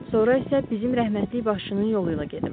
Sonra isə bizim rəhmətlik babanın yolu ilə gedim.